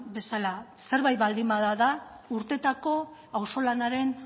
bezala zerbait baldin bada da urteetako auzolanaren